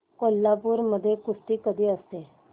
कोल्हापूर मध्ये कुस्ती कधी असते